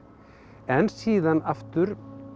en síðan aftur